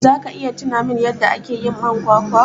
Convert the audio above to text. zaka iya tunamin yadda akeyin man kwakwa?